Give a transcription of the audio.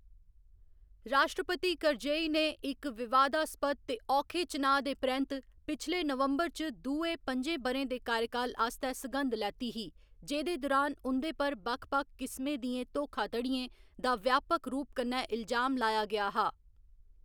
राश्ट्रपति करजई ने इक विवादास्पद ते औखे चुनांऽ दे परैंत्त पिछले नवंबर च दुए पं'जें ब'रें दे कार्यकाल आस्तै सघंद लैती ही, जेह्‌दे दुरान उं'दे पर बक्ख बक्ख किसमें दियें धोखाधड़ियें दा व्यापक रूप कन्नै इलजाम लाया गेआ हा।